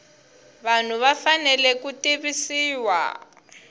vanhu va fanele ku tivisiwa